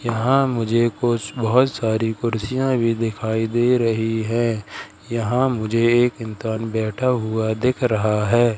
यहां मुझे कुछ बहोत सारी कुर्सियां भी दिखाई दे रही है यहां मुझे एक बैठा हुआ दिख रहा है।